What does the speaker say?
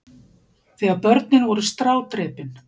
Þegar börnin voru strádrepin.